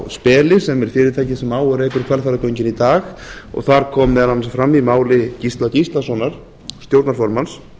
speli sem er fyrirtækið sem á og rekur hvalfjarðargöngin í dag og þar kom meðal annars fram í máli gísla gíslasonar stjórnarformanns